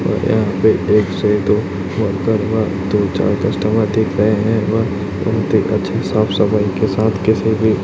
और यहां पे दो महोतरमा दो चार कस्टमर दिख रहे हैं और उनके अच्छे साफ सफाई के साथ किसी भी--